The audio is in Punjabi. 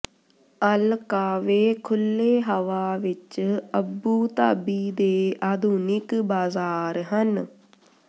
ਅਲ ਕਾਵੇ ਖੁੱਲ੍ਹੇ ਹਵਾ ਵਿਚ ਅਬੂ ਧਾਬੀ ਦੇ ਆਧੁਨਿਕ ਬਾਜ਼ਾਰ ਹਨ